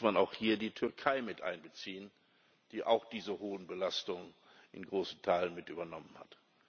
Übrigens muss man auch hier die Türkei mit einbeziehen, die auch diese hohen Belastungen in großen Teilen mit übernommen hat.